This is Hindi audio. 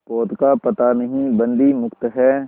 पोत का पता नहीं बंदी मुक्त हैं